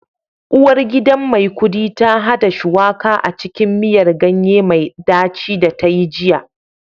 Uwargidan Maikudi ta hada Shuwaka a cikin miyar ganye mai daci da ta yi jiya